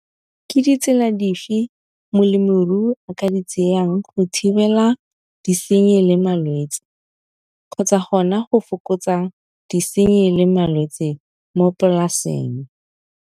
Ke ditsela dife molemirui a ka di tsayang go thibela disenyi le malwetsi, kgotsa gona go fokotsa disenyi le malwetsi mo polaseng.